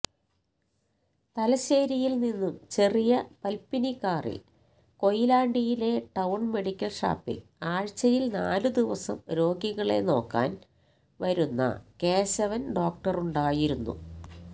തലശ്ശേരിയില്നിന്നു ചെറിയ പത്മിനികാറില് കൊയിലാണ്ടിയിലെ ടൌണ് മെഡിക്കല്ഷാപ്പില് ആഴ്ചയില് നാലുദിവസം രോഗികളെ നോക്കാന് വരുന്ന കേശവന് ഡോക്ടരുണ്ടായിരുന്നു